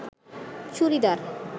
churidar